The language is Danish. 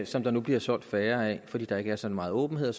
som der nu bliver solgt færre af fordi der ikke er så meget åbenhed